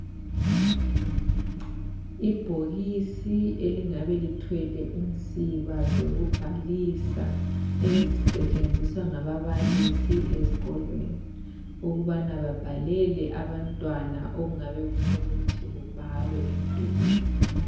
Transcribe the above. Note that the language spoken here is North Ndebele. Ibhokisi elingabe lithwele insiba zokubhalisa ezisetshenziswa ngababalisi ezikolweni ukubana babhalele abantwana okungabe kufunukuthi kubhalwe emdulwini.